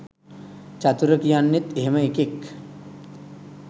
චතුර කියන්නෙත් එහෙම එකෙක්